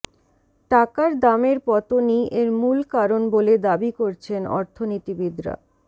টাকার দামের পতনই এর মূল কারণ বলে দাবি করছেন অর্থনীতিবিদরা